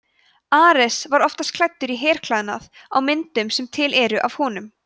ares var oftast klæddur í herklæði á myndum sem til eru af honum